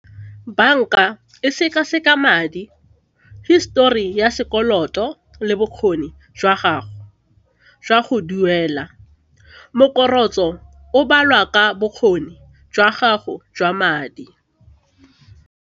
Banka e seka-seka madi, hisetori ya sekoloto le bokgoni jwa gago jwa go duela o balwa ka bokgoni jwa gago jwa madi.